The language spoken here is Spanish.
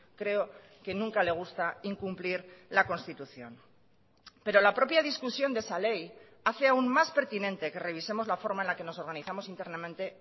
creo que nunca le gusta incumplir la constitución pero la propia discusión de esa ley hace aún más pertinente que revisemos la forma en la que nos organizamos internamente